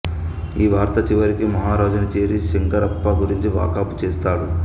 ఈ వార్త చివరికి మహారాజుని చేరి శంకరప్ప గురించి వాకబు చేస్తాడు